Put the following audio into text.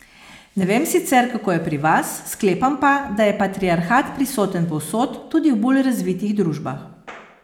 Ne vem sicer, kako je pri vas, sklepam pa, da je patriarhat prisoten povsod, tudi v bolj razvitih družbah.